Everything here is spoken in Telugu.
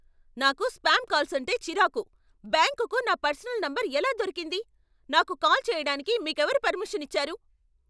నాకు స్పామ్ కాల్స్ అంటే చిరాకు. బ్యాంకుకు నా పర్సనల్ నంబర్ ఎలా దొరికింది, నాకు కాల్ చేయడానికి మీకెవరు పర్మిషన్ ఇచ్చారు?